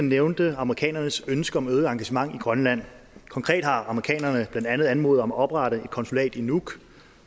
nævnte amerikanernes ønske om et øget engagement i grønland konkret har amerikanerne blandt andet anmodet om at oprette et konsulat i nuuk